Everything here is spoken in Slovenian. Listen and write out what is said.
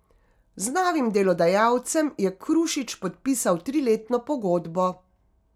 Z novim delodajalcem je Krušič podpisal triletno pogodbo.